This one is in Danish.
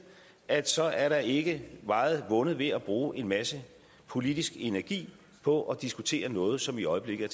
at så er der ikke meget vundet ved at bruge en masse politisk energi på at diskutere noget som i øjeblikket